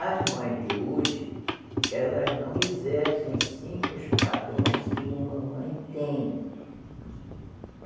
As mães de hoje, elas não exercem os cincos padrões que uma mãe tem.